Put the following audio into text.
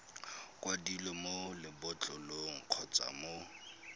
kwadilweng mo lebotlolong kgotsa mo